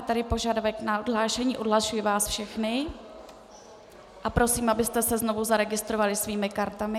Je tu požadavek na odhlášení, odhlašuji vás všechny a prosím, abyste se znovu zaregistrovali svými kartami.